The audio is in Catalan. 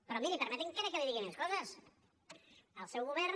però miri permeti encara que li digui més coses el seu govern